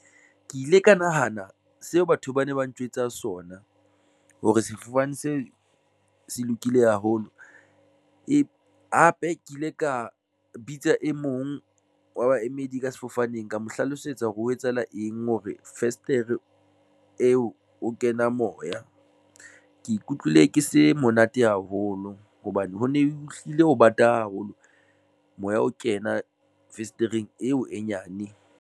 Ke ile ka nahana seo batho ba ne ba ntjwetsa sona hore sefofane seo se lokile haholo. Hape ke ile ka bitsa e mong wa baemedi ka sefofaneng ka mo hlalosetsa hore o ho etsahala eng hore festere eo ho kena moya. Ke ikutlwile ke se monate haholo hobane ho ne hlile ho bata haholo, moya o kena fesetereng eo e nyane.